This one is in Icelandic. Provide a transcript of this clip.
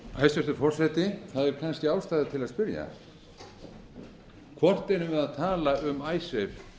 hæstvirtur forseti það er kannski ástæða til að spyrja hvort erum við að tala um